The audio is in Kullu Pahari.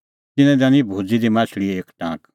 तिन्नैं दैनअ भूज़ी दी माह्छ़लीए एक टांक